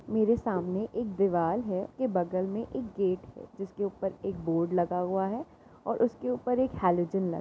मेरे सामने एकदीवाल है उसके बगल में एक गेट हैजिसके ऊपर एक बोर्ड लगा हुआ है और उसके ऊपर एक हैलोजन लगा है।